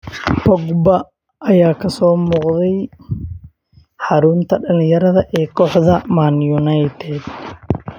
Pogba ayaa kasoo muuqday xarunta dhalinyarada ee kooxda Man United.